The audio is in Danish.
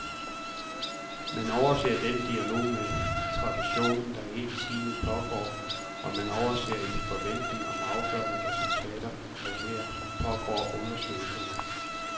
Man overser den dialog med traditionen, der hele tiden pågår, og man overser i forventningen om afgørende resultater, at her pågår undersøgelser.